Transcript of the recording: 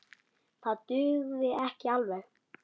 Það dugði ekki alveg.